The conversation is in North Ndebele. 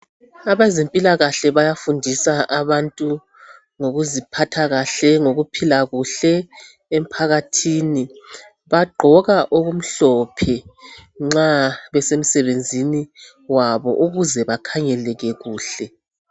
Abezempilakahle bayafundisa abantu ngokuziphatha kahle, ngokuphila kuhle emphakathini . Bagqoka okumhlophe nxa besemsebenzini wabo ukuze bakhangeleke kuhle .